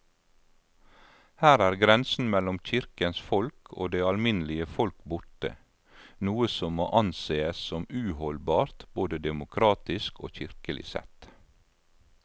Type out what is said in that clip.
Her er grensen mellom kirkens folk og det alminnelige folk borte, noe som må ansees som uholdbart både demokratisk og kirkelig sett.